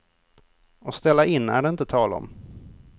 Och ställa in är det inte tal om.